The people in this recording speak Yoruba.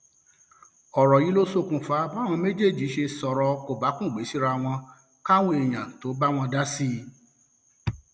ọrọ yìí ló ṣokùnfà báwọn méjèèjì ṣe sọrọ kòbákùngbé síra wọn káwọn èèyàn tóo bá wọn dá sí i